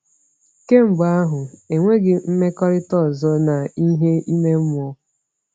Kemgbe ahụ, enweghị m mmekọrịta ọzọ na ihe ime mmụọ.